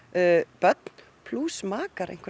börn plús makar einhverra